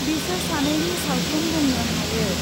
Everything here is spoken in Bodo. बिसोर सानैनि सावथुन बुंनो हायो ।